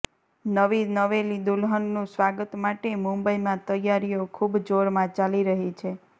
નવી નવેલી દુલ્હન નું સ્વાગત માટે મુંબઈ માં તૈયારીઓ ખુબ જોર માં ચાલી રહી છે